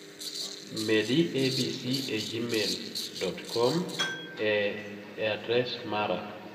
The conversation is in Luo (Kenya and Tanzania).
Medi abc e gmail, com e adres mara.